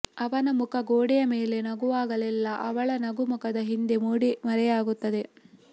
ಅವನ ಮುಖ ಗೊಡೆಯ ಮೇಲೆ ನಗುವಾಗಲೆಲ್ಲ ಅವಳ ನಗು ಮುಖದ ಹಿಂದೆ ಮೂಡಿ ಮರೆಯಾಗುತ್ತದೆ